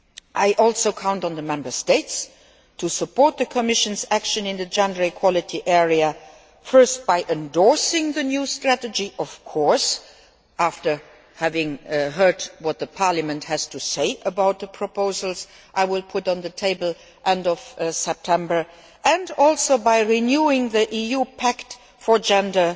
I also count on the Member States to support the Commission's action in the area of gender equality, first by endorsing the new strategy, of course, after having heard what Parliament has to say about the proposals I will put on the table at the end of September, and also by renewing the EU Pact for Gender